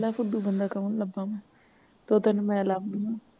ਫੁਦੂ ਬੰਦਾ ਕੌਣ ਲੱਭਾ ਮੈਂ ਤੇ ਤੈਨੂੰ ਮੈਂ ਲਾਭ ਦਿਨਿ ਆਂ